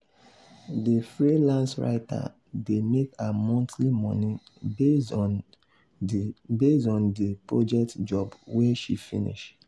the freelance writer dey make her monthly money based on the based on the project job wey she finish.